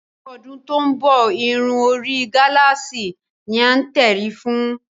Ní ọdún tó ń bọ̀, irun orí gálààsì ni a nírètí fún